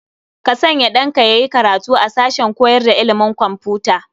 Ka sanya ɗanka ya yi karatu a sashen koyar da ilimin kwamfuta.